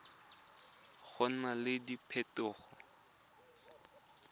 go na le diphetogo tse